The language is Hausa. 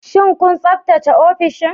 Shin kun tsaftace ofishin?